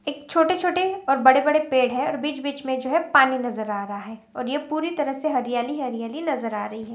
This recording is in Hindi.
एक छोटे-छोटे और बड़े-बड़े पेड़ है और बीच-बीच में जो है पानी नजर आ रहा है और यह पूरी तरह से हरियाली हरियाली नजर आ रही है।